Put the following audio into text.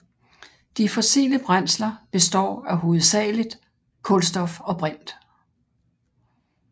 De fossile brændsler består hovedsageligt af kulstof og brint